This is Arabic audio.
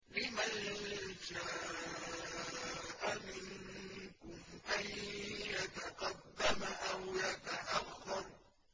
لِمَن شَاءَ مِنكُمْ أَن يَتَقَدَّمَ أَوْ يَتَأَخَّرَ